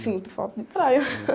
Sinto falta de praia.